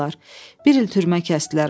Bir il türmə kəsdilər ona.